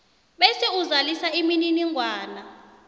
bese uzalisa imininingwana